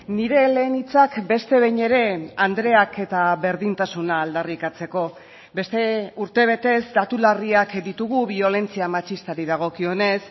nire lehen hitzak beste behin ere andreak eta berdintasuna aldarrikatzeko beste urtebetez datu larriak ditugu biolentzia matxistari dagokionez